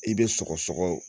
I bɛ sɔgɔsɔgɔ